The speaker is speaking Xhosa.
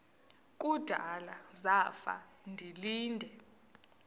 kudala zafa ndilinde